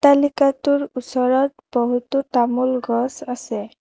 অট্টালিকাটোৰ ওচৰত বহুতো তামোল গছ আছে।